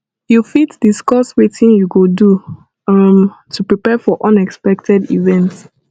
you fit discuss wetin you go do um to prepare for unexpected events